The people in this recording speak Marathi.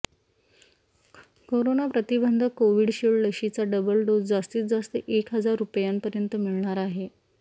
कोरोना प्रतिबंधक कोव्हिशील्ड लशीचा डबल डोस जास्तीत जास्त एक हजार रुपयांपर्यंत मिळणार आहे